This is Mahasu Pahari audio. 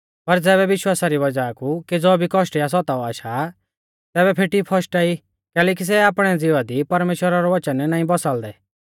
पर ज़ैबै विश्वासा री वज़ाह कु केज़ौ भी कौष्ट या सताव आशा तैबै फेटी फशटा ई कैलैकि सै आपणै ज़िवा दी परमेश्‍वरा रौ वचन नाईं बसाल़दै